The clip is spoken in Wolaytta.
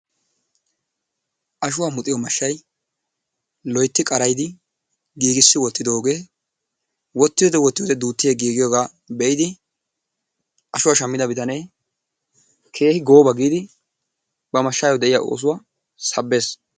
Ashuwa muxiyo mashay loytti qarayiddi giggissi wottidoge wotiyode wotiyode dutti yegigiyoga be'idi ashuwa shammida bittanne keehi goba giddi ba mashayo de'iyaa osuwa sabbees.